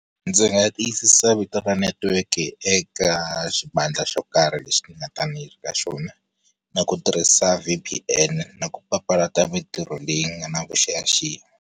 Ndzi nga tiyisisa vito ra netiweke eka xivandla xo karhi lexi ni nga ta va ni ri ka xona, na ku tirhisa V_P_N na ku papalata mintirho leyi nga na vuxiyaxiya.